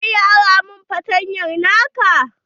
Za ka iya ara min fartanya na ka?